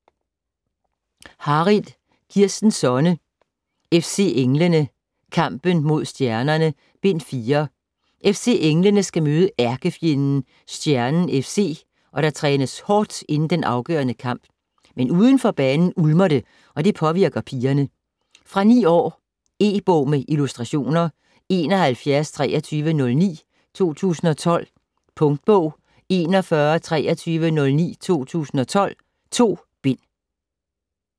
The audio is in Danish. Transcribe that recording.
Harild, Kirsten Sonne: FC Englene: Kampen mod stjernerne: Bind 4 FC Englene skal møde ærkefjenden Stjernen FC, og der trænes hårdt inden den afgørende kamp. Men uden for banen ulmer det, og det påvirker pigerne. Fra 9 år. E-bog med illustrationer 712309 2012. Punktbog 412309 2012. 2 bind.